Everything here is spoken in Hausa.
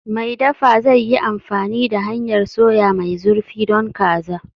Mai dafa zai yi amfani da hanyar soya mai zurfi don kaza.